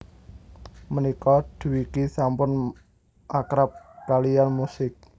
Mènika Dwiki sampun akrab kaliyann musik